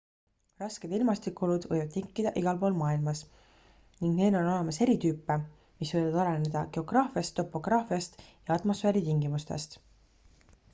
rasked ilmastikuolud võivad tekkida igalpool maailmas ning neid on olemas eri tüüpe mis võivad oleneda geograafiast topograafiast ja atmosfääritingimustest